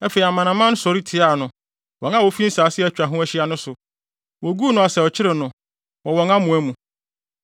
Afei amanaman no sɔre tiaa no, wɔn a wofi nsase a atwa ahyia no so. Woguu no asau kyeree no wɔ wɔn amoa mu.